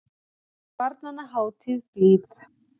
Barnanna hátíð blíð.